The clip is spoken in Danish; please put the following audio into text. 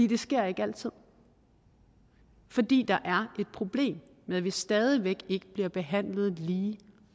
det sker ikke altid fordi der er et problem med at vi stadig væk ikke bliver behandlet lige